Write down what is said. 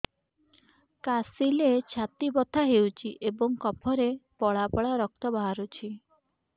କାଶିଲେ ଛାତି ବଥା ହେଉଛି ଏବଂ କଫରେ ପଳା ପଳା ରକ୍ତ ବାହାରୁଚି